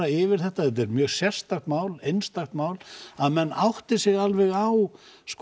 yfir þetta þetta er mjög sérstakt mál einstakt mál að menn átti sig alveg á